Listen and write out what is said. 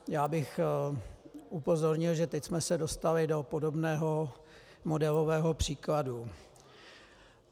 Já bych upozornil, že teď jsme se dostali do podobného modelového příkladu.